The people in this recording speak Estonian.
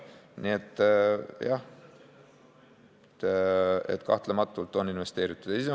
Nii et jah, kahtlematult on Ida-Virumaale investeeritud.